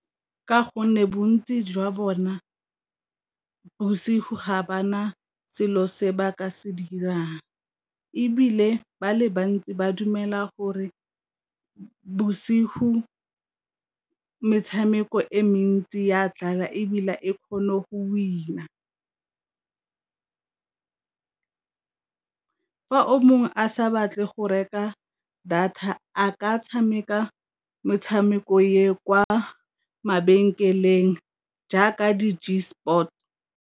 Ka gonne bontsi jwa bona bosigo ga ba na selo se ba ka se dirang, ebile ba le bantsi ba dumela gore bosigo metshameko e mentsi ya dlala ebile e kgone go win-a, fa o mongwe a sa batle go reka data a ka tshameka metshameko ya kwa mabenkeleng jaaka di .